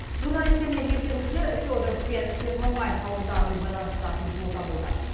журналистер мен тексерушілер фёдоров пен первомай ауылдарын байланыстыратын жолда болды